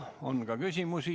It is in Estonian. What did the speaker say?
Teile on ka küsimusi.